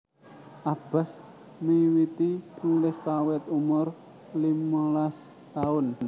Abas miwiti nulis kawit umur limalas taun